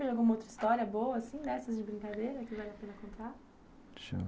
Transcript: Você lembra de alguma outra história boa assim, dessas de brincadeira, que vale a pena contar?